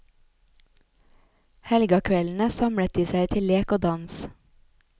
Helgakveldene samlet de seg til lek og dans.